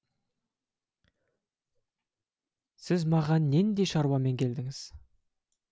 сіз маған нендей шаруамен келдіңіз